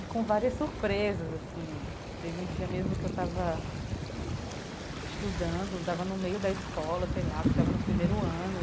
E com várias surpresas, assim, teve um dia mesmo que eu estava estudando, estava no meio da escola, sei lá, acho que estava no primeiro ano.